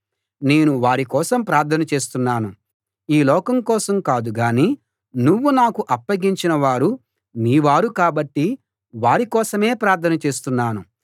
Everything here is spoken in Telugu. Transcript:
నేను వారి కోసం ప్రార్థన చేస్తున్నాను ఈ లోకం కోసం కాదు గాని నువ్వు నాకు అప్పగించిన వారు నీ వారు కాబట్టి వారి కోసమే ప్రార్థన చేస్తున్నాను